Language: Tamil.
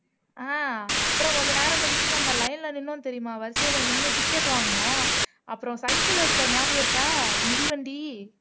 ஆஹ் அப்புறம் கொஞ்ச நேரம் கழிச்சு நம்ம line ல நின்னோம் தெரியுமா வரிசையில நின்னு ticket வாங்குனோம் அப்புறம் cycle எடுத்தோம் ஞாபகம் இருக்கா மிதிவண்டி